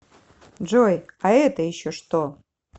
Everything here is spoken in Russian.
джой а это еще что